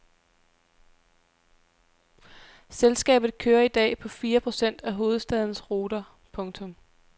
Selskabet kører i dag på fire procent af hovedstadens ruter. punktum